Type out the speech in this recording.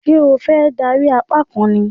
Ṣé o fẹ́ dánrí apá kan ni?